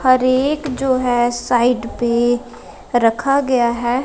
हर एक जो है साइड पे रखा गया है।